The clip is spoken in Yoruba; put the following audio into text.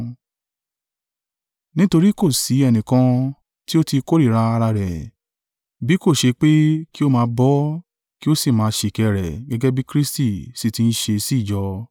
Nítorí kò sì ẹnìkan tí ó ti kórìíra ara rẹ̀; bí kò ṣe pé kí ó máa bọ́ ọ kí ó sì máa ṣìkẹ́ rẹ̀ gẹ́gẹ́ bí Kristi sì ti ń ṣe sí ìjọ.